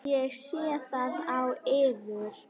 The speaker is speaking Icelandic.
Ég sé það á yður.